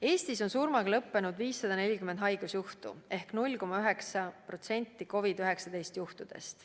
Eestis on surmaga lõppenud 540 haigusjuhtu ehk 0,9% COVID-19 juhtudest.